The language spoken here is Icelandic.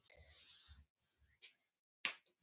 Engin snilld.